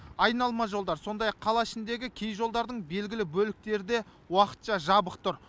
айналма жолдар сондай ақ қала ішіндегі кей жолдардың белгілі бөліктері де уақытша жабық тұр